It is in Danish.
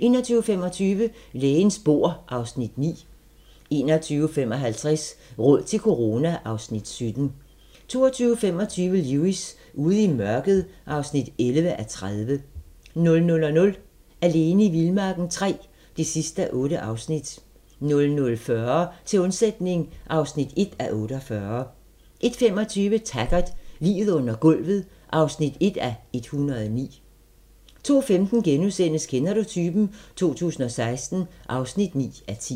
21:25: Lægens bord (Afs. 9) 21:55: Råd til corona (Afs. 17) 22:25: Lewis: Ude i mørket (11:30) 00:00: Alene i vildmarken III (8:8) 00:40: Til undsætning (1:48) 01:25: Taggart: Liget under gulvet (1:109) 02:15: Kender du typen? 2016 (9:10)*